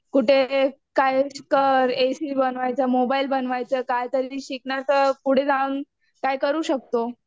कुठे काय कर एसी बनवायचं, मोबाईल बनवायचं काहीतरी शिकणार तर पुढे जाऊन काय करू शकतो.